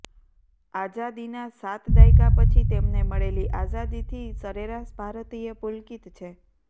આઝાદીના સાત દાયકા પછી તેમને મળેલી આઝાદીથી સરેરાશ ભારતીય પુલકિત છે